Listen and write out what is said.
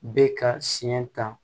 Bɛ ka siɲɛ ta